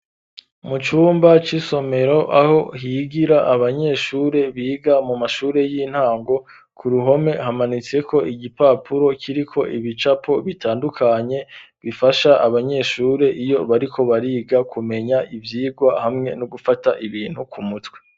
Mu cumba c'isomero ,aho higira abanyeshuri biga mu mashuri y'intango, ku ruhome hamanitse ko igipapuro kiri ko ibicapo bitandukanye, bifasha abanyeshuri iyo bariko bariga kumenya ivyigwa ,hamwe no gufata ibintu ku mutwe.